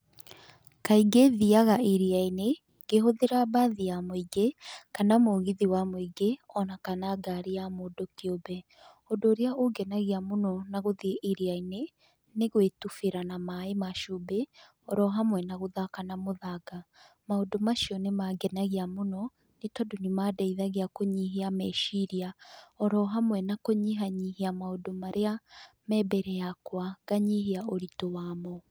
Kaingĩ thiaga iria-inĩ, ngĩhũthĩra mbathi ya mũingĩ, kana mũgithi wa mũingĩ o na kana ngari ya mũndũ kĩũmbe. Ũndũ ũrĩa ũngenagia mũno na gũthiĩ iria-inĩ, nĩ gwĩtubĩra na maaĩ ma cumbĩ oro hamwe na gũthaka na mũthanga. maũndũ macio nĩmangenagia mũno nĩ tondũ nĩmandeithagia kũnyihia meciria, oro hamwe na kũnyihanyihia maũndũ marĩa, me mbere yakwa nganyihia ũritũ wamo.